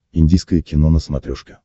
индийское кино на смотрешке